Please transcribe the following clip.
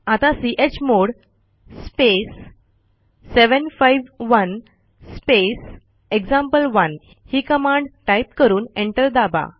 आता chmod space 751 space example one ही command type करून एंटर दाबा